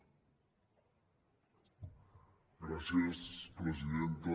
gràcies presidenta